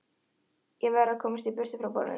Ég verð að komast burt frá borðinu.